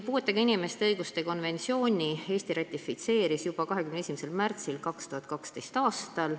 Puuetega inimeste õiguste konventsiooni ratifitseeris Eesti juba 21. märtsil 2012. aastal.